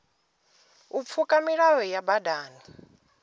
u pfuka milayo ya badani